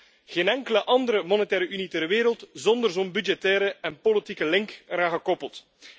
Er is ook geen enkele andere monetaire Unie ter wereld zonder zo'n budgettaire en politieke link eraan gekoppeld.